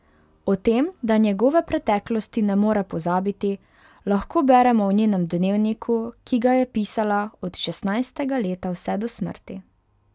O tem, da njegove preteklosti ne more pozabiti, lahko beremo v njenem dnevniku, ki ga je pisala od šestnajstega leta vse do smrti.